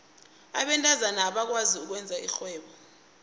abentazana abakwazi ukwenza irhwebo